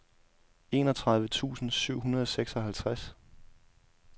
enogtredive tusind syv hundrede og seksoghalvtreds